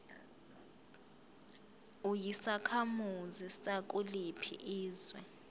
uyisakhamuzi sakuliphi izwe